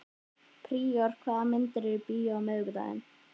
Príor, hvaða myndir eru í bíó á miðvikudaginn?